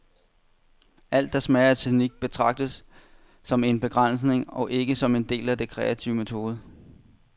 Alt, der smager af teknik, betragtes som en begrænsning og ikke som en del af den kreative metode.